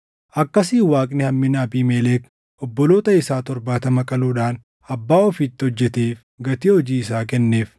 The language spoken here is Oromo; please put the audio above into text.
Akkasiin Waaqni hammina Abiimelek obboloota isaa torbaatama qaluudhaan abbaa ofiitti hojjeteef gatii hojii isaa kenneef.